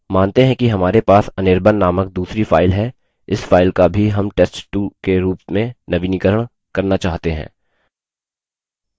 मानते हैं कि हमारे पास anirban named दूसरी file है इस file का भी हम test2 के रूप में नवीनीकरण करना चाहते हैं